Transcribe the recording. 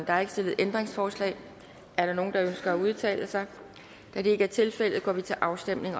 er ikke stillet ændringsforslag er der nogen der ønsker at udtale sig da det ikke tilfældet går vi til afstemning